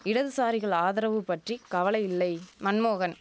இடதுசாரிகள் ஆதரவு பற்றி கவலையில்லை மன்மோகன்